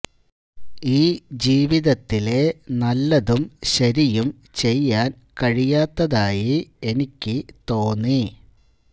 ഈ ജീവിതത്തിലെ നല്ലതും ശരിയും ചെയ്യാൻ കഴിയാത്തതായി എനിക്ക് തോന്നി